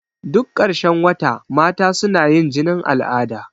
Duk ƙarshen wata mata suna yin jinin al'ada.